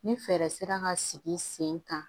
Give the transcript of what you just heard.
Ni fɛɛrɛ sera ka sigi sen kan